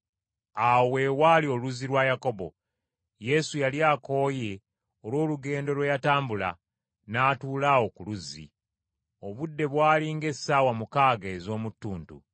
Awo we waali oluzzi lwa Yakobo. Yesu yali akooye olw’olugendo lwe yatambula, n’atuula awo ku luzzi. Obudde bwali ng’essaawa mukaaga ez’omu ttuntu.